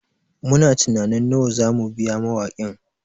Muna tunanin nawa za mu biya mawakin